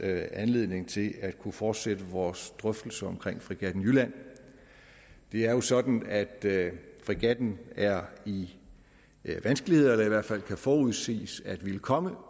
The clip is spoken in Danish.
anledning til at kunne fortsætte vores drøftelse om fregatten jylland det er jo sådan at fregatten er i vanskeligheder eller i hvert fald kan forudses at ville komme